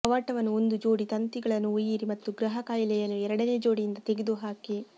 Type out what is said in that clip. ಕವಾಟವನ್ನು ಒಂದು ಜೋಡಿ ತಂತಿಗಳನ್ನು ಒಯ್ಯಿರಿ ಮತ್ತು ಗೃಹ ಕಾಯಿಲೆಯನ್ನು ಎರಡನೇ ಜೋಡಿಯಿಂದ ತೆಗೆದುಹಾಕಿ